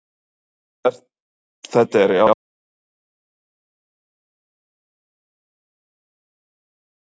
Þetta er alvöru fótbolti sem er spilaður hérna og hvers vegna er þá konur hérna?